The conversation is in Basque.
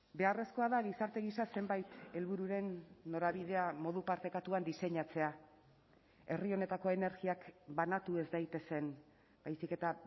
beharrezkoa da gizarte gisa zenbait helbururen norabidea modu partekatuan diseinatzea herri honetako energiak banatu ez daitezen baizik eta